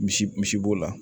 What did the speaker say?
Misi misi b'o la